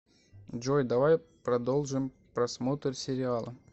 джой давай продолжим просмотр сериала